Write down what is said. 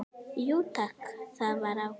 Jú takk, það var ágætt